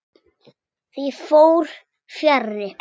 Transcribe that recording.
Því fór fjarri.